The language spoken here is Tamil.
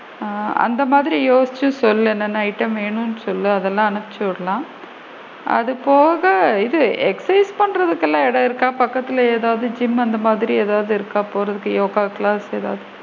ஆ அந்த மாதிரி யோசிச்சு சொல்லு என்ன என்ன item வேணும்ன்னு சொல்லு அதலா அனுப்சு விடலாம் அது போக இது exercise பண்றதுக்குலா இடம் இருக்கா பக்கத்துலையே ஏதாவது ஜிம் அந்த மாதிர ஏதாவது இருக்கா? போறதுக்கு யோகா class அந்த மாதிரி,